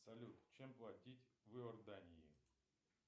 салют чем платить в иордании